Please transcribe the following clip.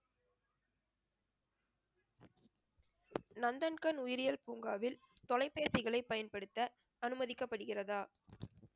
நந்தன்கண் உயிரியல் பூங்காவில் தொலைபேசிகளை பயன்படுத்த அனுமதிக்கப்படுகிறதா